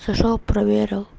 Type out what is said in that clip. зашёл проверь